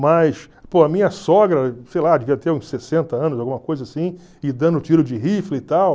Mas, pô a minha sogra, sei lá, devia ter uns sessenta anos, alguma coisa assim, e dando tiro de rifle e tal.